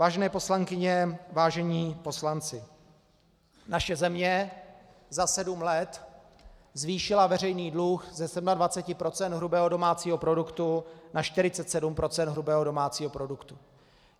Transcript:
Vážené poslankyně, vážení poslanci, naše země za sedm let zvýšila veřejný dluh ze 27 % hrubého domácího produktu na 47 % hrubého domácího produktu.